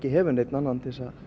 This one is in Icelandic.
hefur engan annan